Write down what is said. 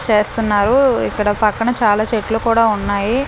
చేస్తన్నారు ఇక్కడ పక్కన చాలా చెట్లు కూడా ఉన్నాయి.